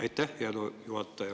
Aitäh, hea juhataja!